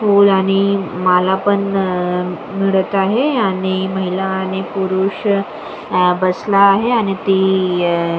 फूल आणि माला पण मिळत आहे आणि महिला आणि पुरुष आ बसला आहे आणि ती आ --